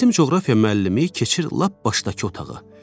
Bizim coğrafiya müəllimi keçir lap başdakı otağa.